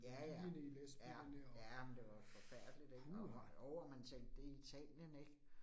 Ja ja, ja, ja, men det var jo forfærdeligt ik, og jo og man tænkte det i Italien ik